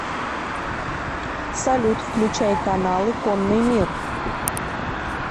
салют включай каналы конный мир